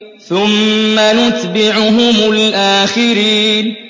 ثُمَّ نُتْبِعُهُمُ الْآخِرِينَ